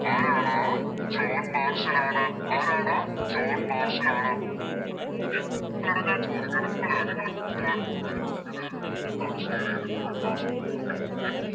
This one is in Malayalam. ആരാണ് ജോൺ മാർസൽ ആണ് ആരാണ് ജോൺ മാർസൽ ആണ് Okay അത് പോലെ ഞാൻ ചോദിക്കട്ടെ നിങ്ങള് നിങ്ങളെ കൂട്ടുകാർക്കു മുമ്പിൽ ഇത് എന്താണ് Share ചെയ്തിട്ട്ള്ളേ Class group ലൊക്കെ അഹ്